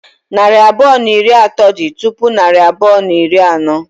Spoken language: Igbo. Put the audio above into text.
Narị abụọ na iri atọ dị tupu narị abụọ na iri anọ.